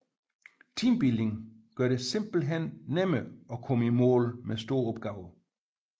Teambuilding gør det simpelthen nemmere at komme i mål med store opgaver